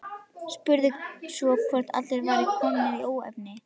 Spurði svo hvort allt væri komið í óefni.